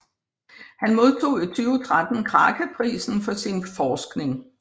Han modtog i 2013 Kraka Prisen for sin forskning